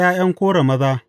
Ta ’ya’yan Kora maza.